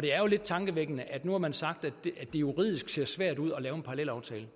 det er jo lidt tankevækkende at nu har man sagt at det juridisk ser svært ud at lave en parallelaftale